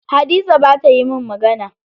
Hadiza bata yi mun magana.